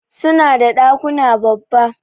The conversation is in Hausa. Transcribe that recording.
Suna da dakuna babba.